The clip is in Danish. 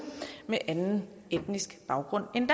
med anden etnisk baggrund end